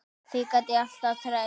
Því gat ég alltaf treyst.